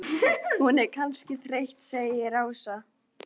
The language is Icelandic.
Hún er kannski þreytt segir Ása.